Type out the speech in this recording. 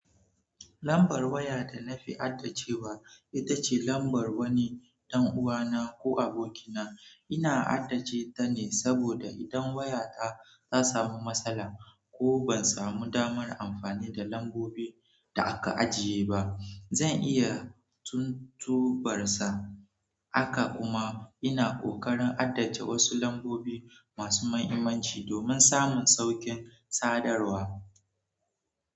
Lambar waya da na fi hadda cewa ita ce lambar wani ɗan uwana ko abokina. Ina haddace ta ne saboda idan waya ta ta samu matsala ko ban samu damar amfani da lambobin da aka ajiye ba, zan iya tuntubarsa. Haka kuma ina ƙoƙarin haddace wasu lambobi masu mahimmanci domin samun saukin sadarwa.